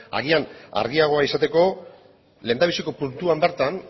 agian argiagoa izateko lehendabiziko puntuan bertan